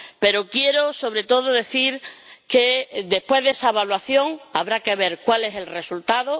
Pero, sobre todo, quiero decir que, después de esa evaluación, habrá que ver cuál es el resultado.